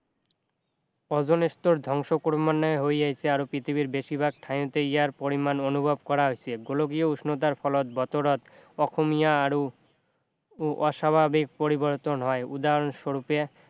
অজন স্তৰ ধ্বংস ক্ৰমান্বয়ে হৈ আহিছে আৰু পৃথিৱীৰ বেছিভাগ ঠাইতে ইয়াৰ পৰিমাণ অনুভৱ কৰা হৈছে গোলকীয় উষ্ণতাৰ ফলত বতৰত অসমীয়া আৰু অস্বাভাৱিক পৰিবৰ্তন হয় উদাহণস্বৰূপে